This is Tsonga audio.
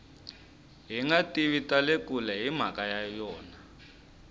hingativa tale kule himhaka ya yona